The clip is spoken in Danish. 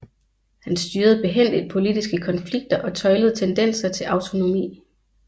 Han styrede behændigt politiske konflikter og tøjlede tendenser til autonomi